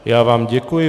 Já vám děkuji.